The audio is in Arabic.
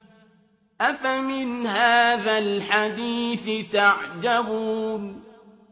أَفَمِنْ هَٰذَا الْحَدِيثِ تَعْجَبُونَ